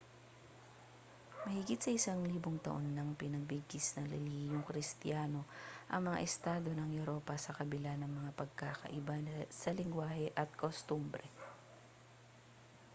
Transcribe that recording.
mahigit isang libong taon nang pinagbigkis ng relihiyong kristiyano ang mga estado ng europa sa kabila ng mga pagkakaiba sa lengguwahe at kostumbre